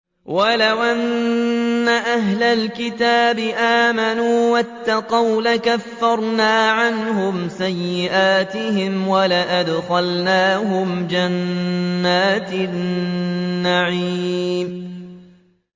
وَلَوْ أَنَّ أَهْلَ الْكِتَابِ آمَنُوا وَاتَّقَوْا لَكَفَّرْنَا عَنْهُمْ سَيِّئَاتِهِمْ وَلَأَدْخَلْنَاهُمْ جَنَّاتِ النَّعِيمِ